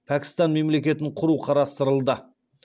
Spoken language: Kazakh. пәкістан мемлекетін құру қарастырылды